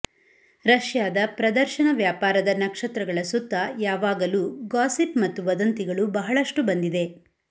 ರಷ್ಯಾದ ಪ್ರದರ್ಶನ ವ್ಯಾಪಾರದ ನಕ್ಷತ್ರಗಳ ಸುತ್ತ ಯಾವಾಗಲೂ ಗಾಸಿಪ್ ಮತ್ತು ವದಂತಿಗಳು ಬಹಳಷ್ಟು ಬಂದಿದೆ